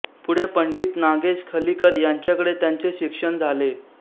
पुढे पंडित नागेश खलीकर यांच्याकडे त्यांचे शिक्षण झाले